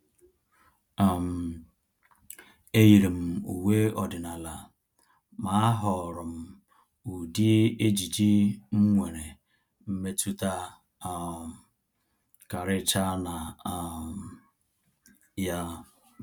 um E yiiri m uwe ọdịnala, ma ahọọrọ m ụdị ejiji m nwere mmetụta um karịchaa na um ya.